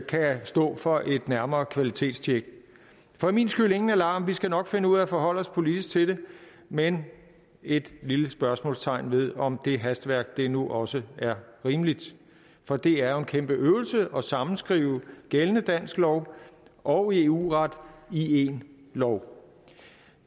kan stå for et nærmere kvalitetstjek for min skyld ingen alarm vi skal nok finde ud af at forholde os politisk til det men et lille spørgsmålstegn ved om det hastværk nu også er rimeligt for det er jo en kæmpe øvelse at sammenskrive gældende dansk lov og eu ret i én lov